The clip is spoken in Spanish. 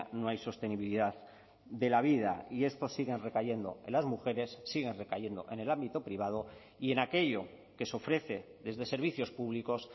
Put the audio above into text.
no hay sostenibilidad de la vida y estos siguen recayendo en las mujeres siguen recayendo en el ámbito privado y en aquello que se ofrece desde servicios públicos